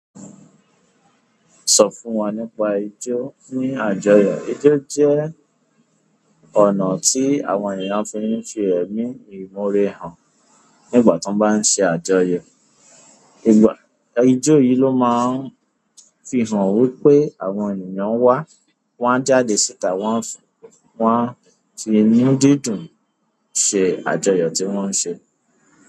Sọ fún wa nípa ijó ní àjọyọ̀. Ijó jẹ́ ọ̀nà tí àwọn ènìyàn fi ń fi ẹ̀mí ìmorẹ́ hàn nígbà tí wọ́n bá ń ṣe àjọyọ̀. Ijó yìí ló máa ń fi hàn wípé àwọn ènìyàn wá, wọ́n jáde síta won a fi inú dídùn se àjọyọ̀ ti won se.